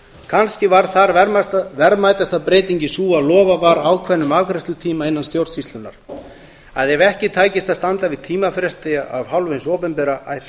kannski var þar verðmætasta breytingin sú að lofað var ákveðnum afgreiðslutíma innan stjórnsýslunnar að ef ekki tækist að standa við tímafresti af hálfu hins opinbera ætti